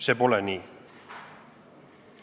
See pole nii.